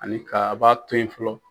Ani ka a ba to ye fɔlɔ.